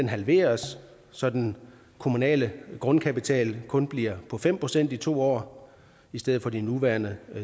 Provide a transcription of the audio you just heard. halveres så den kommunale grundkapital kun bliver på fem procent i to år i stedet for de nuværende